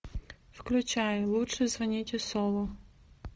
включай лучше звоните солу